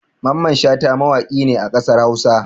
Mamman Shata mawaƙi ne a ƙasar Hausa.